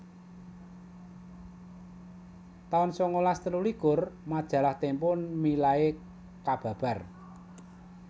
taun sangalas telulikur Majalah Tempo milai kababar